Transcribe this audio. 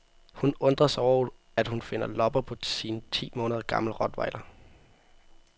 Hun undrer sig over, at hun finder lopper på sin ti måneder gamle rottweiler.